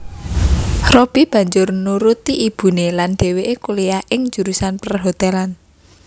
Robby banjur nuruti ibuné lan dhéwéké kuliyah ing jurusan perhotelan